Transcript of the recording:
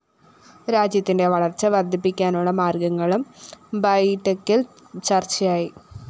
രാജ്യത്തിന്റെ വളര്‍ച്ച വര്‍ദ്ധിപ്പിക്കാനുള്ള മാര്‍ഗങ്ങളും ബൈഠക്കില്‍ ചര്‍ച്ചയായി